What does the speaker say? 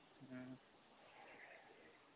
ம்ம்